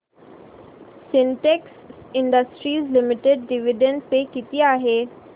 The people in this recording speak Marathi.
Sintex industries limited dividend pay किती आहे